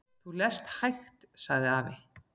"""Þú lest hægt, sagði afi."""